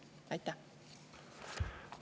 Aitäh!